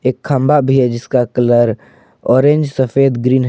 एक खंबा भी है जिसका कलर ऑरेंज सफेद ग्रीन है।